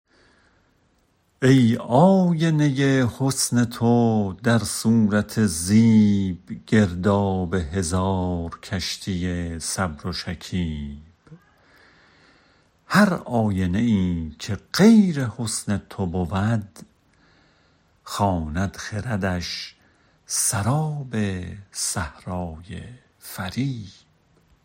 ای آینه حسن تو در صورت زیب گرداب هزار کشتی صبر و شکیب هر آینه ای که غیر حسن تو بود خواند خردش سراب صحرای فریب